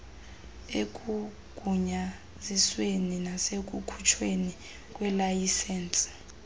ekugunyazisweni nasekukhutshweni kweelayisensi